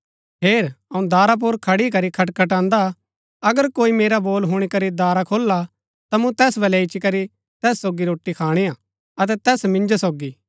हेर अऊँ दारा पुर खड़ी करी खटखटान्दा अगर कोई मेरा बोल हुणी करी दारा खोलला ता मूँ तैस बलै इच्ची करी तैस सोगी रोटी खाणी हा अतै तैस मिन्जो सोगी